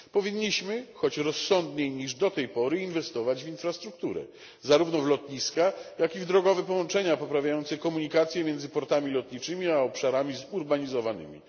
Powinniśmy, choć rozsądniej niż do tej pory, inwestować w infrastrukturę, zarówno w lotniska, jak i drogowe połączenia poprawiające komunikację między portami lotniczymi a obszarami zurbanizowanymi.